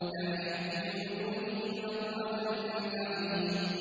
تَعْرِفُ فِي وُجُوهِهِمْ نَضْرَةَ النَّعِيمِ